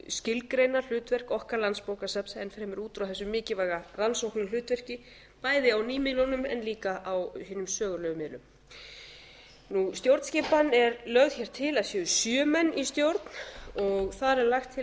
skilgreina hlutverk okkar landsbókasafns enn fremur út frá þessu mikilvæga rannsóknarhlutverki bæði á nýmiðlunum en líka á hinu sögulegu miðlum stjórnskipan er lögð hér til að það séu sjö menn í stjórn og þar er lagt til að